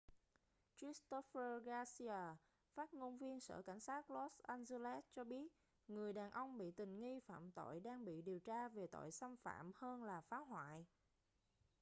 christopher garcia phát ngôn viên sở cảnh sát los angeles cho biết người đàn ông bị tình nghi phạm tội đang bị điều tra về tội xâm phạm hơn là phá hoại